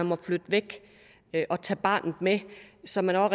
må flytte væk og tage barnet med så man